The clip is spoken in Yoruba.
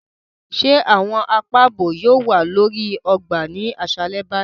Ṣe awọn àpá ààbò yóò wà lórí ọgbà ni aṣalẹ báyìí?